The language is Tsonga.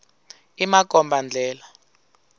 i makomba ndlela